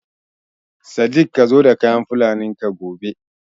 Sadik ka zo da kayan Fulanin ka gobe!